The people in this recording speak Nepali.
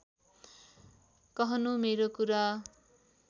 कहनू मेरो कुरा